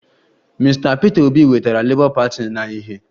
Mr Peter obi wetara labour party na ìhè